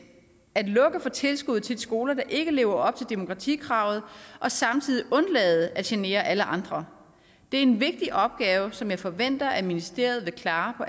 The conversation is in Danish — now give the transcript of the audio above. for tilskuddet til de skoler der ikke lever op til demokratikravet og samtidig undlade at genere alle andre det er en vigtig opgave som jeg forventer at ministeriet vil klare på